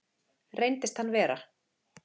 Reyndist hann vera